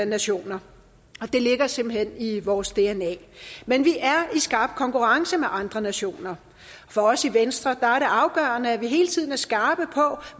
nationer og det ligger simpelt hen i vores dna men vi er i skarp konkurrence med andre nationer for os i venstre er det afgørende at vi hele tiden er skarpe på